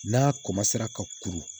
N'a ka kuru